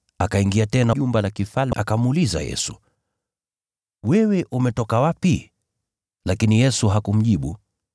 Akaingia tena ndani ya jumba la kifalme, akamuuliza Yesu, “Wewe umetoka wapi?” Lakini Yesu hakumjibu.